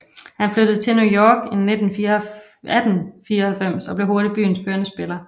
Han flyttede til New York i 1894 og blev hurtigt byens førende spiller